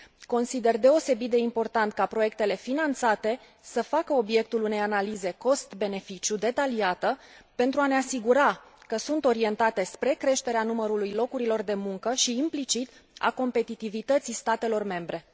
Consider deosebit de important ca proiectele finanțate să facă obiectul unei analize cost beneficiu detaliată pentru a ne asigura că sunt orientate spre creșterea numărului locurilor de muncă și, implicit, a competitivității statelor membre.